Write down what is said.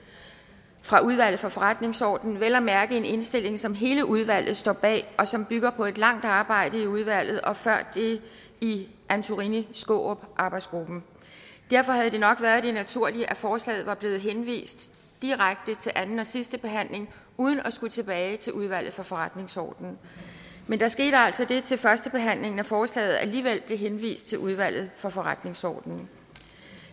fra udvalget for forretningsordenen vel at mærke en indstilling som hele udvalget står bag og som bygger på et langt arbejde i udvalget og før det i antorini skaarup arbejdsgruppen derfor havde det nok været det naturlige at forslaget var blevet henvist direkte til anden og sidste behandling uden at skulle tilbage til udvalget for forretningsordenen men der skete altså det til førstebehandlingen at forslaget alligevel blev henvist til udvalget for forretningsordenen